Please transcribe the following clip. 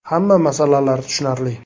Hamma masalalar tushunarli.